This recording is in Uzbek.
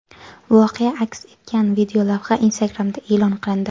Voqea aks etgan videolavha Instagram’da e’lon qilindi .